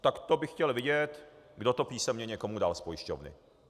Tak to bych chtěl vidět, kdo to písemně někomu dal z pojišťovny.